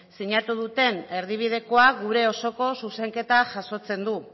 sinatu duten erdibidekoa gure osoko zuzenketa jasotzen du